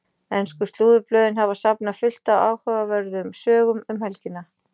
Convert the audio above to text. Ensku slúðurblöðin hafa safnað fullt af áhugaverðum sögum um helgina.